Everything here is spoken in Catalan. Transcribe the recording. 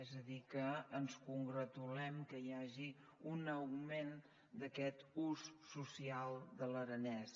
és a dir que ens congratulem que hi hagi un augment d’aquest ús social de l’aranès